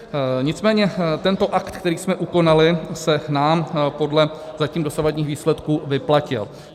Nicméně tento akt, který jsme ukonali, se nám podle zatím dosavadních výsledků vyplatil.